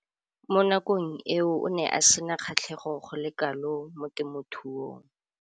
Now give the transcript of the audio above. Mo nakong eo o ne a sena kgatlhego go le kalo mo temothuong.